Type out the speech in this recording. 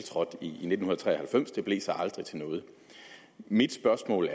i nitten tre og halvfems det blev så aldrig til noget mit spørgsmål